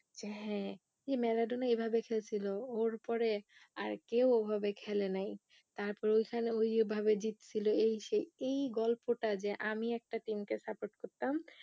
যে হ্যাঁ ইয়ে ম্যারাডোনা এভাবে খেলছিল ওর পরে আর কেও ও ভাবে খেলে নাই তারপর ওইখানে ওইভাবে জিৎ ছিল এই সেই এই গল্পটা যে আমি একটা team কে support করতাম